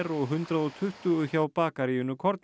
og hundrað og tuttugu hjá bakaríinu korninu